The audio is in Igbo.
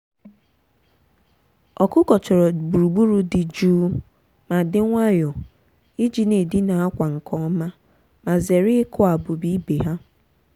ọkụkọ chọrọ gburugburu dị jụụ ma dị nwayọọ iji na-edina akwa nke ọma ma zere ịkụ ábụ́bà ibe ha.